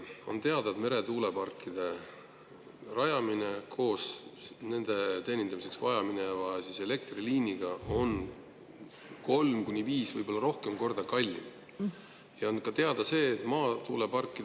On teada, et meretuuleparkide rajamine koos nende teenindamiseks vajaminevate elektriliinidega on kolm kuni viis, võib-olla rohkem korda kallim.